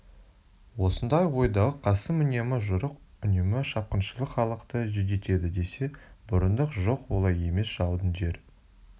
осындай ойдағы қасым үнемі жорық үнемі шапқыншылық халықты жүдетеді десе бұрындық жоқ олай емес жаудың жер